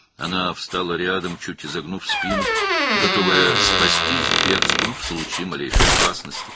O, belini bir az bükərək yanına durdu, ən kiçik təhlükə anında qaçmağa hazır idi.